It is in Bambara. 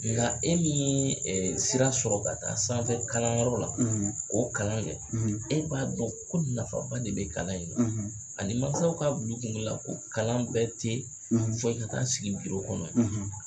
Nka e min ɛ sira sɔrɔ ka taa sanfɛ kalanyɔrɔ la o kalan dɛ e b'a dɔn ko nafaba de bɛ kalan in ani masaw ka bil'u kunkolo la ko kalan bɛɛ tɛ fɔ i ka taa sigi biro kɔnɔ ye